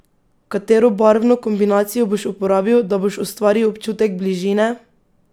Katero barvno kombinacijo boš uporabil, da boš ustvaril občutek bližine?